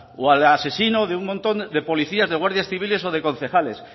o al asesino de un montón de policías de guardias civiles o de concejales